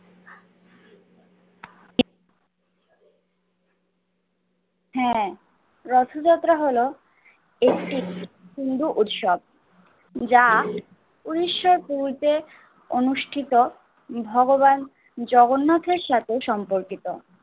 হ্যাঁ রথযাত্রা হলো একটি হিন্দু উৎসব যা উনিশশো কুঁড়িতে অনুষ্ঠিত ভগবান জগন্নাথের সাথে সম্পর্কিত